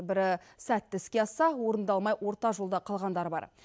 бірі сәтті іске асса орындалмай орта жолда қалғандар бар